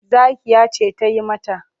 Zakkiyya ce ta yi mata.